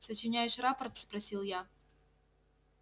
сочиняешь рапорт спросил я